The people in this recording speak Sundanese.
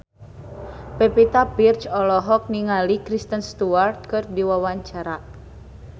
Pevita Pearce olohok ningali Kristen Stewart keur diwawancara